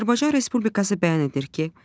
Azərbaycan Respublikası bəyan edir ki,